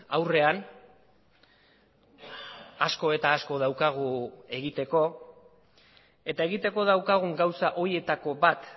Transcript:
aurrean asko eta asko daukagu egiteko eta egiteko daukagun gauza horietako bat